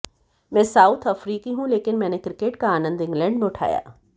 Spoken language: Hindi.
मैं साउथ अफ्रीकी हूं लेकिन मैंने क्रिकेट का आनंद इंग्लैंड में उठाया